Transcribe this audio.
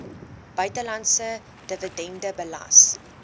buitelandse dividend belas